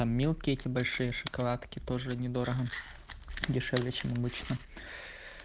там мелкие эти большие шоколадки тоже недорого дешевле чем обычно